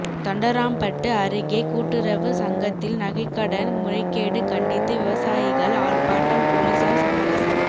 தண்டராம்பட்டு அருகே கூட்டுறவு சங்கத்தில் நகைக்கடன் முறைகேடு கண்டித்து விவசாயிகள் ஆர்ப்பாட்டம் போலீசார் சமரசம்